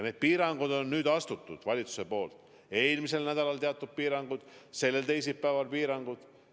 Need piirangud on nüüd valitsus kehtestanud: eelmisel nädalal teatud piirangud, sellel teisipäeval teatud piirangud.